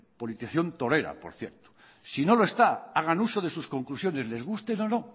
politización torera por cierto si no lo está hagan uso de sus conclusiones les gusten o no